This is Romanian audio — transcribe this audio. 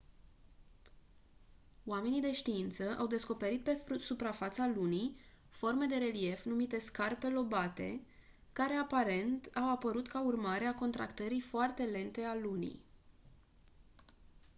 oamenii de știință au descoperit pe suprafața lunii forme de relief numite scarpe lobate care aparent au apărut ca urmare a contractării foarte lente a lunii